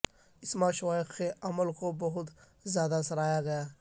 اسما شویخ کے عمل کو بہت زیادہ سراہا گیا ہے